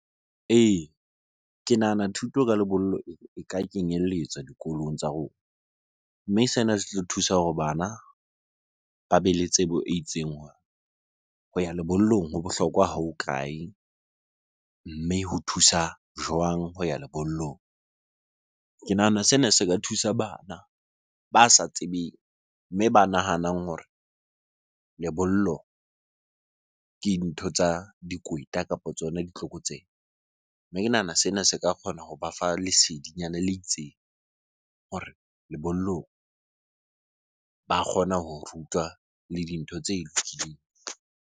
Ee, ke nahana thuto ka lebollo e ka kenyelletswa dikolong tsa rona. Mme sena se tlo thusa hore bana ba bele tsebo e itseng hore ho ya lebollong ho bohlokwa kae? Mme ho thusa jwang ho ya lebollong? Ke nahana sena se ka thusa bana ba sa tsebeng, mme ba nahanang hore lebollo ke ntho tsa dikweta kapo tsona ditlokotsebe. Mme ke nahana sena se ka kgona hoba fa lesedinyana le itseng hore lebollong ba kgona ho rutwa le dintho tse lokileng.